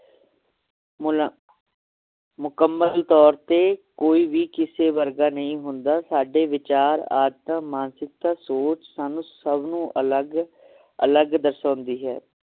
ਮੁਲਾ~ ਮੁਕੱਮਲ ਤੌਰ ਤੇ ਕੋਈ ਵੀ ਕਿਸੇ ਵਰਗਾ ਨਹੀਂ ਹੁੰਦਾ ਸਾਡੇ ਵਿਚਾਰ ਆਦਤ ਮਾਨਸਿਕਤਾ ਸੋਚ ਸਾਨੂੰ ਸਬ ਨੂ ਅਲਗ ਅਲਗ ਦਰਸ਼ਾਉਂਦੀ ਹੈ